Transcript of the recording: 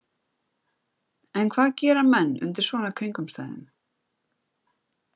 En hvað gera menn undir svona kringumstæðum?